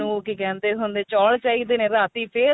ਕੀ ਕਹਿੰਦੇ ਹੁੰਦੇ ਚੋਲ ਚਾਹੀਦੇ ਨੇ ਰਾਤੀ ਫੇਰ